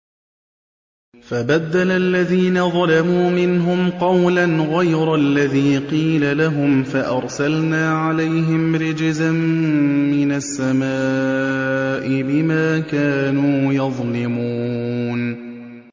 فَبَدَّلَ الَّذِينَ ظَلَمُوا مِنْهُمْ قَوْلًا غَيْرَ الَّذِي قِيلَ لَهُمْ فَأَرْسَلْنَا عَلَيْهِمْ رِجْزًا مِّنَ السَّمَاءِ بِمَا كَانُوا يَظْلِمُونَ